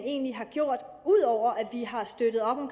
egentlig har gjort udover at vi har støttet op om